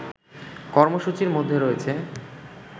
কর্মসূচির মধ্যে রয়েছে